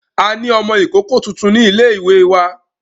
A ní ọmọ ìkókó tuntun ní ilé wa.